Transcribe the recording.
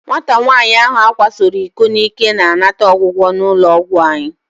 Nwata nwaanyị ahụ a kwasoro iko n'ike na-anata ọgwụgwọ n'ụlọ ọgwụ anyị.